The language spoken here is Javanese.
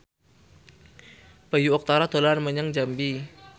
Bayu Octara dolan menyang Jambi